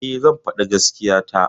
E, zan faɗi gaskiya ta.